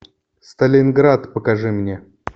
сталинград покажи мне